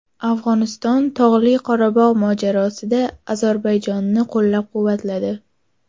Afg‘oniston Tog‘li Qorabog‘ mojarosida Ozarbayjonni qo‘llab-quvvatladi.